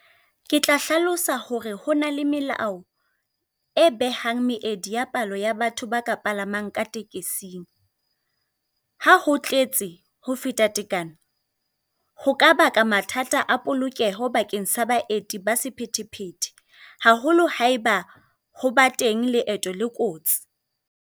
Ke tla hlalosa hore hona le melao e behang meedi ya palo ya batho ba ka palamang ka tekesing. Ha ho tletse hofeta tekano, ho ka baka mathata a polokeho bakeng sa baeti ba sephethephethe. Haholo haeba ho ba teng leeto le kotsi.